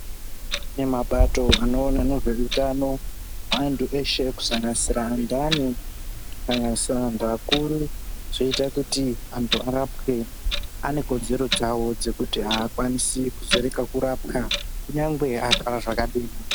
Kune mapato anoona nezvehutano hwaantu eshe kusanganisira andani. kusanganisira antu akuru. Zvoita kuti antu arapwe anekodzero dzavo dzekuti hakwanisi kuzorega kurapwa kunyangwe arwara zvakadini.